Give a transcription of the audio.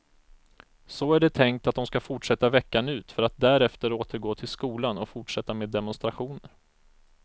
Så är det tänkt att de ska fortsätta veckan ut för att därefter återgå till skolan och fortsätta med demonstrationer.